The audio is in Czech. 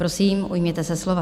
Prosím, ujměte se slova.